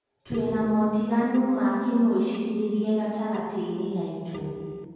Twĩna motinganu ma kĩmwecirĩrie gatagati-inĩ gaitu